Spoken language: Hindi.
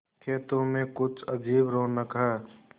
खेतों में कुछ अजीब रौनक है